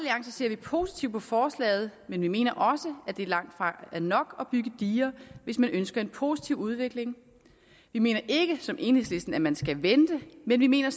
ser vi positivt på forslaget men vi mener også at det langt fra er nok at bygge diger hvis man ønsker en positiv udvikling vi mener ikke som enhedslisten at man skal vente men vi mener